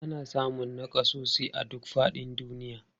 Ana samun nakasassu a duk faɗin duniya.